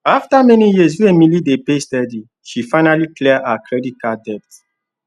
after many years wey emily dey pay steady she finally clear her credit card debt